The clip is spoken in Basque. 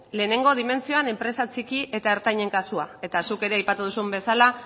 lehenengo dimentsioan enpresa txiki eta ertainen kasua eta zuk ere aipatu duzun bezala